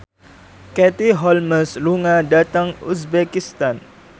Katie Holmes lunga dhateng uzbekistan